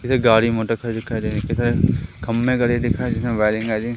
इधर गाड़ी मोटर खड़ी दिखाई दे रही इधर खंबे गड़े दिख जिसमें वायरिंग --